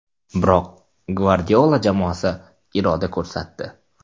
Biroq Gvardiola jamoasi iroda ko‘rsatdi.